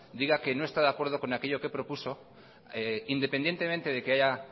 diga que no está de acuerdo con aquello que propuso independientemente de que haya